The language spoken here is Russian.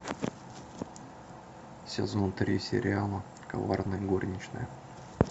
сезон три сериала коварная горничная